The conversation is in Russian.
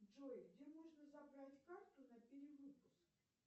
джой где можно забрать карту на перевыпуске